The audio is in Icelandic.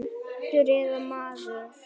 Hundur eða maður.